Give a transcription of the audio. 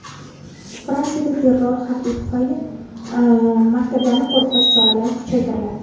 Fransiyada terror xavfi tufayli maktablarni qo‘riqlash choralari kuchaytiriladi.